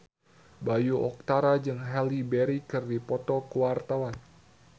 Bayu Octara jeung Halle Berry keur dipoto ku wartawan